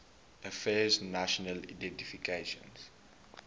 affairs national identification